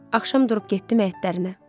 Axşam durub getdim həyətlərinə.